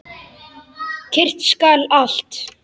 Kyrrt skal allt.